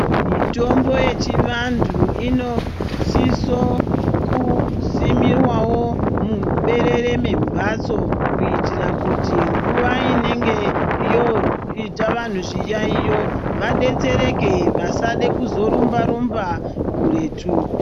Mitombo yechivantu inosise kusimwa muberere mwembatso kuitira kuti mvuwa inenge yoita vantu zviyaiyo vadetsereke vasade kuzorumba rumba kuretu.